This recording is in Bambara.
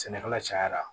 Sɛnɛkɛla cayara